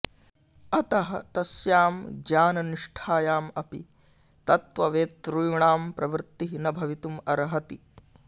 अतः तस्यां ज्ञाननिष्ठायाम् अपि तत्त्ववेतॄणां प्रवृत्तिः न भवितुम् अर्हति